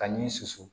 Ka ɲi susu